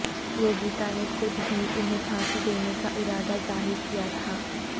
یوگیتا نے خود ہی انہیں پھانسی دینےکا ارادہ ظاہرکیاتھا